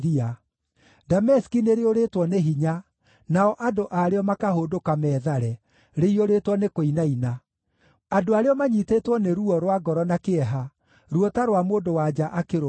Dameski nĩrĩũrĩtwo nĩ hinya, nao andũ a rĩo makahũndũka meethare, rĩiyũrĩtwo nĩ kũinaina; andũ a rĩo manyiitĩtwo nĩ ruo rwa ngoro na kĩeha, ruo ta rwa mũndũ-wa-nja akĩrũmwo.